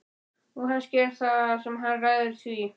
og kannski er það hann sem ræður því.